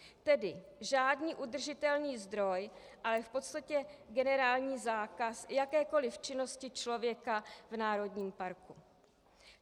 Tedy žádný udržitelný zdroj, ale v podstatě generální zákaz jakékoli činnosti člověka v národním parku.